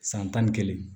San tan ni kelen